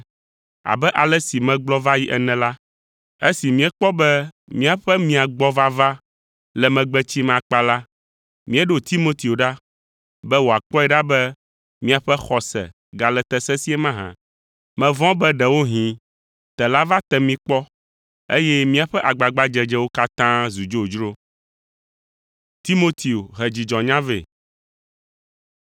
Abe ale si megblɔ va yi ene la, esi míekpɔ be míaƒe mia gbɔ vava le megbe tsim akpa la, míeɖo Timoteo ɖa, be wòakpɔe ɖa be miaƒe xɔse gale te sesĩe mahã. Mevɔ̃ be ɖewohĩ tela va te mi kpɔ, eye míaƒe agbagbadzedzewo katã zu dzodzro.